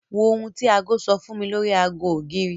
Wo ohun tí aago sọ fún mi lórí aago ògiri.